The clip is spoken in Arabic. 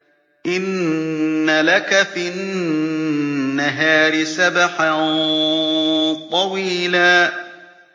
إِنَّ لَكَ فِي النَّهَارِ سَبْحًا طَوِيلًا